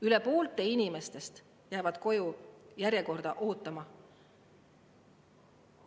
Üle poolte nendest inimestest jäävad koju järjekorda ootama.